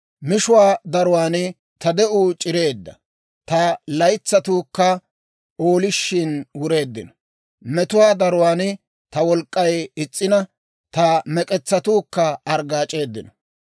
Mishuwaa daruwaan ta de'uu c'ireedda; ta laytsatuukka oolishin wureeddino. Metuwaa daruwaan ta wolk'k'ay is's'ina; ta mek'etsatuukka arggaac'eeddino.